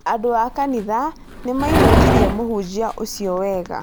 Andũ a kanitha nĩ maĩnũkirĩe mũhunjia ũcio wega